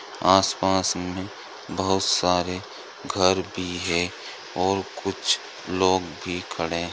आस पास मे बोहउत सारे घर भी है और कुछ लोग भी खारे है।